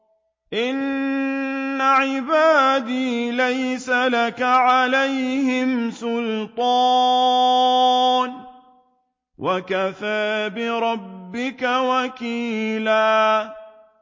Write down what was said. إِنَّ عِبَادِي لَيْسَ لَكَ عَلَيْهِمْ سُلْطَانٌ ۚ وَكَفَىٰ بِرَبِّكَ وَكِيلًا